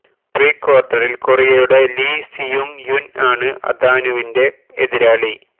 pre ക്വാര്ട്ടറില് കൊറിയയുടെ Lee Seung Yun ആണ് അതാനുവിന്റെ എതിരാളി